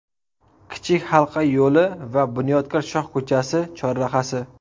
Kichik halqa yo‘li va Bunyodkor shoh ko‘chasi chorrahasi.